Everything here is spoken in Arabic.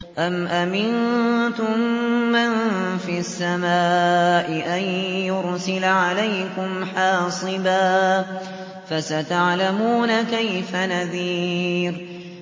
أَمْ أَمِنتُم مَّن فِي السَّمَاءِ أَن يُرْسِلَ عَلَيْكُمْ حَاصِبًا ۖ فَسَتَعْلَمُونَ كَيْفَ نَذِيرِ